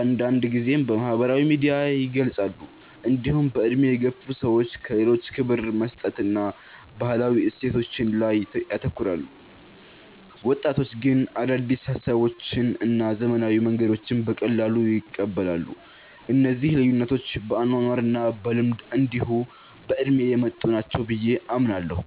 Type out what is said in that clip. አንዳንድ ጊዜም በማህበራዊ ሚዲያ ይገልጻሉ። እንዲሁም በዕድሜ የገፉ ሰዎች ለሌሎች ክብር መስጠትን እና ባህላዊ እሴቶችን ላይ ያተኩራሉ። ወጣቶች ግን አዳዲስ ሀሳቦችን እና ዘመናዊ መንገዶችን በቀላሉ ይቀበላሉ። እነዚህ ልዩነቶች በአኗኗር እና በልምድ እንዲሁ በእድሜ የመጡ ናቸው ብየ አምናለሁ።